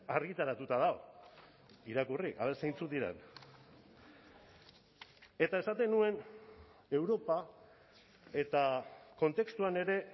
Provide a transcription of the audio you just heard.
argitaratuta dago irakurri aber zeintzuk diren eta esaten nuen europa eta kontestuan ere